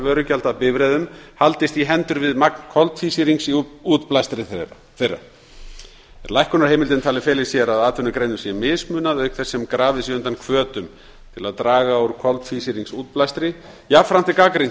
vörugjalda af bifreiðum haldist í hendur við magn koltvísýrings í útblæstri þeirra er lækkunarheimildin talin fela í sér að atvinnugreinum sé mismunað auk þess sem grafið sé undan hvötum til að draga úr koltvísýringsútblæstri jafnframt er gagnrýnt